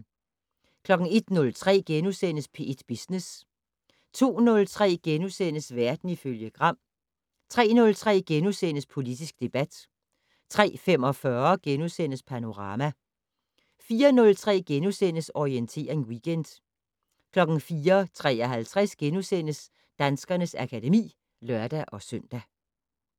01:03: P1 Business * 02:03: Verden ifølge Gram * 03:03: Politisk debat * 03:45: Panorama * 04:03: Orientering Weekend * 04:53: Danskernes akademi *(lør-søn)